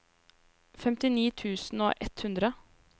femtini tusen og ett hundre